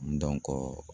Dɔnko